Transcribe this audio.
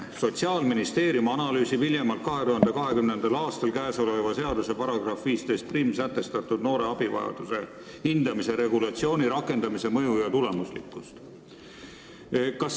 Ja tekst: "Sotsiaalministeerium analüüsib hiljemalt 2020. aastal käesoleva seaduse §-s 151 sätestatud noore abivajaduse hindamise regulatsiooni rakendamise mõju ja tulemuslikkust.